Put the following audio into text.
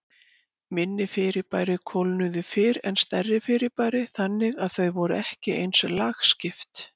Minni fyrirbæri kólnuðu fyrr en stærri fyrirbæri, þannig að þau voru ekki eins lagskipt.